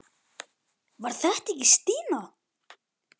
Var þetta ekki Stína?